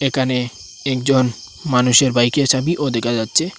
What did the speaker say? একানে একজন মানুষের বাইকের চাবিও দেকা যাচ্ছে।